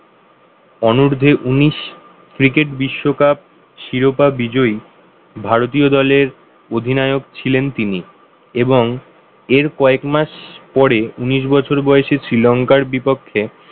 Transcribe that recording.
অনুর্ধ্যে উনিশ ক্রিকেট বিশ্বকাপ শিরোপা বিজয়ী ভারতীয় দলের অধিনায়ক ছিলেন তিনি এবং এর কয়েক মাস পরে উনিশ বছর বয়সে শ্রীলংকার বিপক্ষে